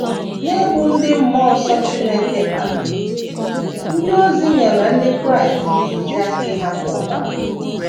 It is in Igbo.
N’ịbụ ndị mmụọ nsọ Chineke kpaliri, ndị ozi nyere ndị Kraịst ntụziaka ‘ ịhapụ ọbara. ’